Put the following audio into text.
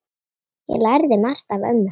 Ég lærði margt af ömmu.